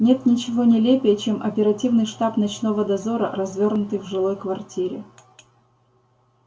нет ничего нелепее чем оперативный штаб ночного дозора развёрнутый в жилой квартире